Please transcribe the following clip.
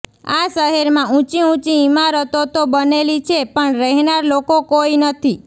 આ શહેરમાં ઉંચી ઉંચી ઈમારતો તો બનેલી છે પણ રહેનાર લોકો કોઈ નથી